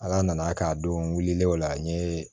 Ala nana k'a don wulilen o la n ye